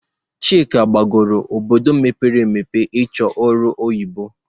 Chika gbagọrọ obodo mpere emepe ị chọ ọrụ oyibo